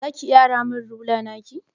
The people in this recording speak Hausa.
Za ki iya ara min rula naki?